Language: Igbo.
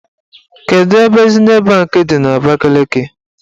Kedu ebe Zinet banki dị n'Abakaliki?